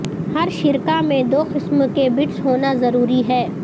ہر شرکاء میں دو قسم کے بٹس ہونا ضروری ہے